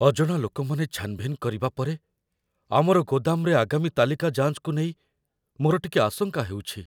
ଅଜଣା ଲୋକମାନେ ଛାନ୍‌ଭିନ୍ କରିବା ପରେ ଆମର ଗୋଦାମରେ ଆଗାମୀ ତାଲିକା ଯାଞ୍ଚକୁ ନେଇ ମୋର ଟିକେ ଆଶଙ୍କା ହେଉଛି।